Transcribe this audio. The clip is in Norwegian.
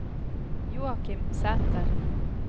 Joachim Sæther